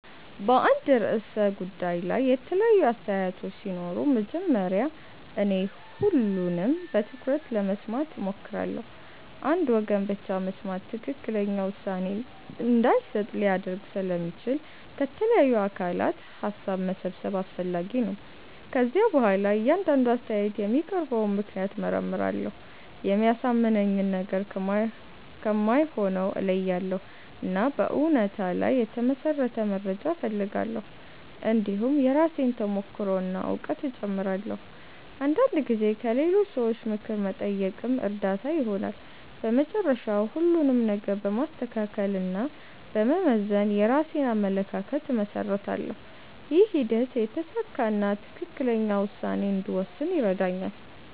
በአንድ ርዕሰ ጉዳይ ላይ የተለያዩ አስተያየቶች ሲኖሩ መጀመሪያ እኔ ሁሉንም በትኩረት ለመስማት እሞክራለሁ። አንድ ወገን ብቻ መስማት ትክክለኛ ውሳኔ እንዳይሰጥ ሊያደርግ ስለሚችል ከተለያዩ አካላት ሀሳብ መሰብሰብ አስፈላጊ ነው። ከዚያ በኋላ እያንዳንዱ አስተያየት የሚያቀርበውን ምክንያት እመርመራለሁ። የሚያሳምነኝን ነገር ከማይሆነው እለያያለሁ፣ እና በእውነታ ላይ የተመሠረተ መረጃ እፈልጋለሁ። እንዲሁም የራሴን ተሞክሮ እና እውቀት እጨምራለሁ። አንዳንድ ጊዜ ከሌሎች ሰዎች ምክር መጠየቅም እርዳታ ይሆናል። በመጨረሻ ሁሉንም ነገር በማስተካከል እና በመመዘን የራሴን አመለካከት እመሰርታለሁ። ይህ ሂደት የተሳካ እና ትክክለኛ ውሳኔ እንድወስን ይረዳኛል።